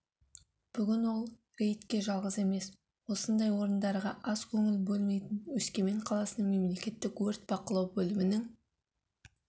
бүгін ол рейдке жалғыз емес осындай орындарға аз көңіл бөлмейтін өскемен қаласының мемлекеттік өрт бақылау бөлімінің